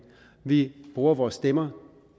vi bruger vores stemmer